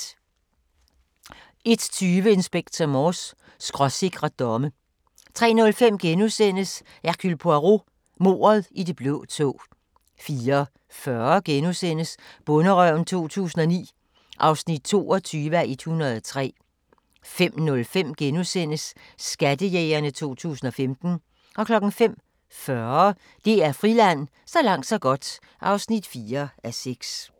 01:20: Inspector Morse: Skråsikre domme 03:05: Hercule Poirot: Mordet i det blå tog * 04:40: Bonderøven 2009 (22:103)* 05:05: Skattejægerne 2015 * 05:40: DR Friland: Så langt så godt (4:6)